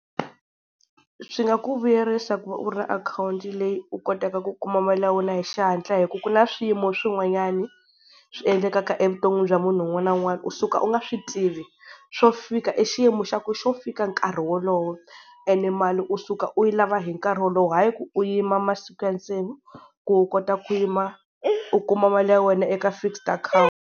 Swi nga ku vuyerisa ku va u ri na akhawunti leyi u kotaka ku kuma mali ya wena hi xihatla, hi ku ku na swiyimo swin'wanyani swi endlekaka evuton'wini bya munhu un'wana na un'wana, u suka u nga swi tivi swo fika i xiyimo xa ku xo fika nkarhi wolowo. And mali u suka u yi lava hi nkarhi wolowo hayi ku u yima masiku ya ntsena ku u kota ku yima u kuma mali ya wena eka fixed account.